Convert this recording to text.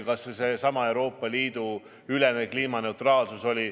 Kas või seesama Euroopa Liidu ülene kliimaneutraalsus.